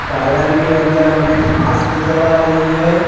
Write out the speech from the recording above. Garden के अंदर हमें घास नजर आ रही है।